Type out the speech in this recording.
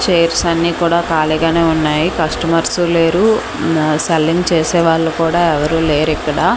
Chairs అన్నీ కూడా ఖాళీగానే ఉన్నాయి కస్టమర్సూ లేరు ఉమ్ సెల్లింగ్ చేసేవాళ్ళు కూడా ఎవరూ లేరిక్కడ.